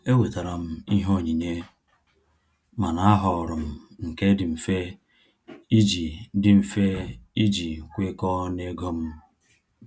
Ewetara m ihe onyinye, mana a họọrọ m nke dị mfe iji dị mfe iji kwekọọ na ego m.